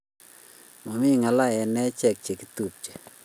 Mamie ngal eng achek ke chepchepitu